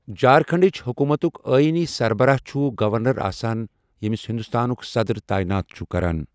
جھارکھنڈٕچ حکومتُک آئینی سربراہ چھُ گورنر آسان یَمِس ہندوستانُک صدر تعیِنات چھُ کران۔